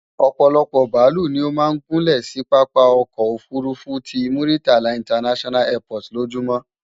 Òpòlopò bàálù ni ó máa ń gúnlè sí pápá okoò òfurufú ti Muritala International Airport lójúmó.